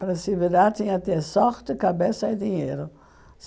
Para se virar tinha ter sorte, cabeça e dinheiro.